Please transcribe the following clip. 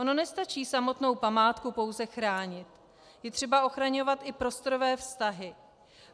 Ono nestačí samotnou památku pouze chránit, je třeba ochraňovat i prostorové vztahy.